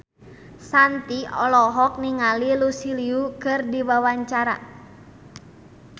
Shanti olohok ningali Lucy Liu keur diwawancara